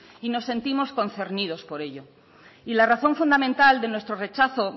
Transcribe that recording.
y nos sentimos concernidos por ello y la razón fundamental de nuestro rechazo